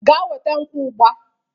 Gaa weta nkwu ugbua